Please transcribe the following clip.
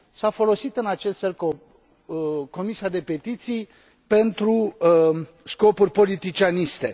S a folosit în acest fel Comisia pentru petiții pentru scopuri politicianiste.